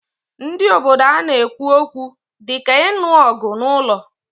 Ndị obodo ana-ekwu okwu dị ka inu ogu n'ụlọ?